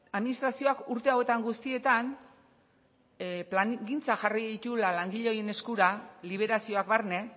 administrazioak urte hauetan guztietan plangintzak jarri dituela langile horien eskura liberazioak barne